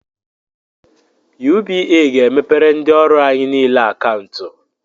UBA ga-emepere ndị ọrụ anyị nile akantu